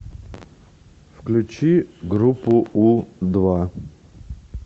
включи группу у два